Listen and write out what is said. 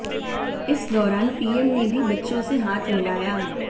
इस दौरान पीएम ने भी बच्चों से हाथ मिलाया